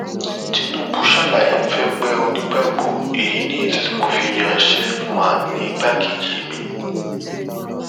tinubu ṣàlàyé fẹgbẹ onígbàgbọ èyí ni ìdí tí mo fi yan sheffman ní igbákejì mi